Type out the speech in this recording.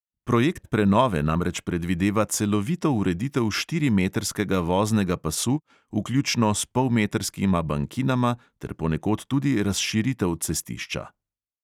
Projekt prenove namreč predvideva celovito ureditev štirimetrskega voznega pasu, vključno s polmetrskima bankinama, ter ponekod tudi razširitev cestišča.